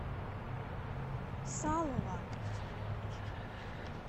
салова